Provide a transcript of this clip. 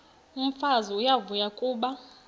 umfazi uyavuya kuba